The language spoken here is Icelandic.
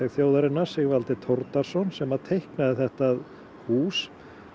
þjóðarinnar Sigvaldi sem teiknaði þetta hús